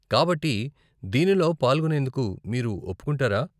కాబట్టి, దీనిలో పాల్గొనేందుకు మీరు ఒప్పుకుంటారా?